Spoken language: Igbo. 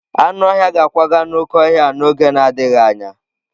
Anụ ọhịa ga-akwaga n'oké ọhịa a n'oge na-adịghị anya.